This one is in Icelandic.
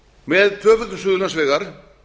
með tvöföldun suðurlandsvegar